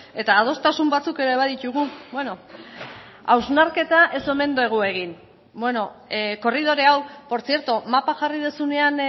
eta adostasun batzuk ere baditugu bueno hausnarketa ez omen dugu egin bueno korridore hau portzierto mapa jarri duzunean